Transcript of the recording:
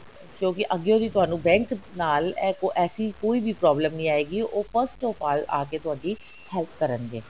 ਕਿਉਂਕਿ ਅੱਗੇ ਵੀ ਤੁਹਾਨੂੰ bank ਨਾਲ ਐਸੀ ਕੋਈ ਵੀ problem ਨਹੀਂ ਆਏਗੀ ਉਹ first of all ਆਕੇ ਤੁਹਾਡੀ help ਕਰਨਗੇ